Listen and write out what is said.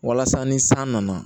Walasa ni san nana